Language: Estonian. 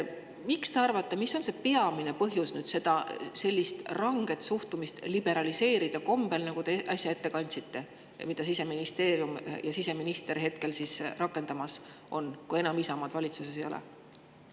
Mis te arvate, mis on see peamine põhjus sellist ranget suhtumist liberaliseerida kombel, nagu te äsja ette kandsite ja mida Siseministeerium ja siseminister hetkel rakendamas on, kui Isamaad enam valitsuses ei ole?